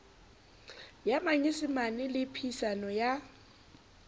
ya manyesemane le phehisano ya